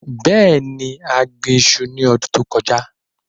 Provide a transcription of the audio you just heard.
Bẹẹni, a gbin iṣu ni ọdun to kọja